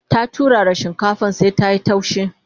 ta turara shinkafar sai ta.yi taushi